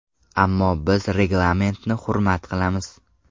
Ammo biz reglamentni hurmat qilamiz.